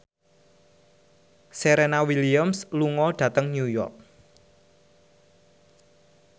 Serena Williams lunga dhateng New York